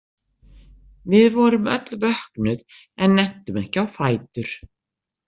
Við vorum öll vöknuð en nenntum ekki á fætur.